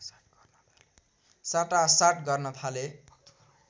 साटासाट गर्न थाले